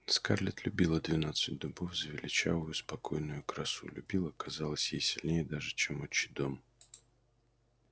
скарлетт любила двенадцать дубов за величавую спокойную красу любила казалось ей сильнее даже чем отчий дом